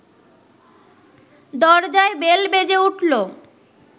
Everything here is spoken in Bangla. দরজায় বেল বেজে উঠল